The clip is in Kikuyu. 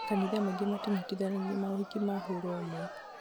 makanitha maingĩ matinyitithanagia maũhiki ma hũra ũmwe